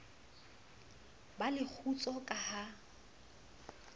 ba le kgutso ka ha